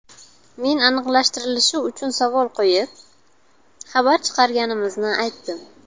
Men aniqlashtirilishi uchun savol qo‘yib, xabar chiqarganimizni aytdim.